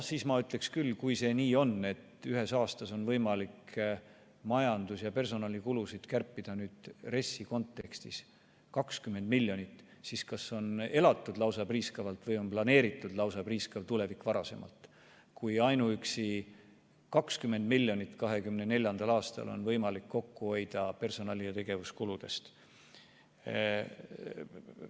Ma ütleksin küll, et kui see nii on, et ühes aastas on võimalik majandus- ja personalikulusid kärpida RES-i kontekstis 20 miljonit, siis kas on elatud lausa priiskavalt või on varasemalt planeeritud priiskavat tulevikku, kui ainuüksi 2024. aastal on võimalik 20 miljonit personali- ja tegevuskuludest kokku hoida.